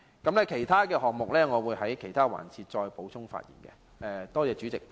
至於其他項目，我會在其他辯論環節再次發言。